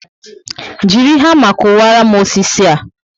Jiri hama kuwara m osisi a